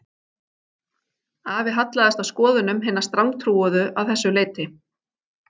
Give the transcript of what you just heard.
Afi hallaðist að skoðunum hinna strangtrúuðu að þessu leyti